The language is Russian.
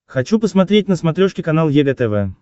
хочу посмотреть на смотрешке канал егэ тв